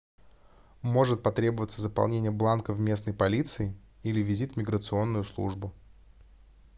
может потребоваться заполнение бланка в местной полиции или визит в миграционную службу